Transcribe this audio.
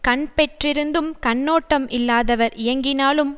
கண் பெற்றிருந்தும் கண்ணோட்டம் இல்லாதவர் இயங்கினாலும்